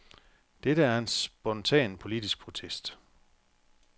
Dette er en spontan politisk protest.